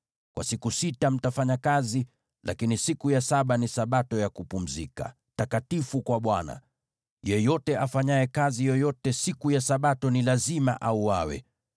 Kwa siku sita, mtafanya kazi, lakini siku ya saba ni Sabato ya kupumzika, takatifu kwa Bwana . Yeyote afanyaye kazi yoyote siku ya Sabato ni lazima auawe.